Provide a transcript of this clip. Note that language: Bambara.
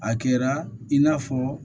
A kɛra i n'a fɔ